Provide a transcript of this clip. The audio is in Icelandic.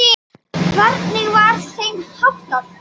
Hvernig var þeim háttað?